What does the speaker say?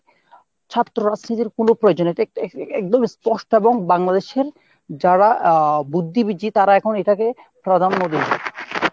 ছাত্র রাজনীতির কোনো প্রয়োজন নাই। এক~ একদম স্পষ্ট এবং Bangladesh এর যারা বুদ্ধিবীজী তারা এখন এটাকে প্রাধান্য দিন।